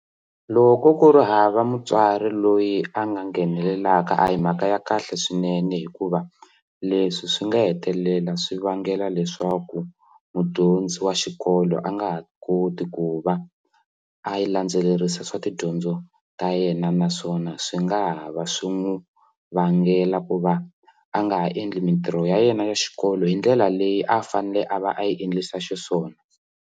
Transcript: Loko ku ri hava mutswari loyi a nga nghenelelaka a hi mhaka ya kahle swinene hikuva leswi swi nga hetelela swi vangela leswaku mudyondzi wa xikolo a nga ha koti ku va a yi landzelerisa swa tidyondzo ta yena naswona swi nga ha va swi n'wi vangela ku va a nga endli mitirho ya yena ya xikolo hi ndlela leyi a fanele a va a yi endlisa xiswona.